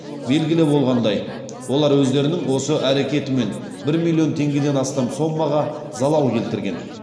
белгілі болғандай олар өздерінің осы әрекетімен бір миллион теңгеден астам соммаға залал келтірген